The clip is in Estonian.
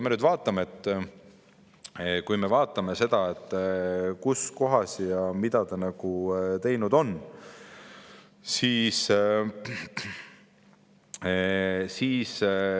Aga vaatame nüüd seda, kus kohas ja mida ta teinud on.